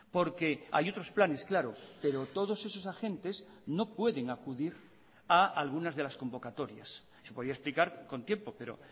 porque hay otros planes claro pero todos esos agentes no pueden acudir a algunas de las convocatorias se podía explicar con tiempo pero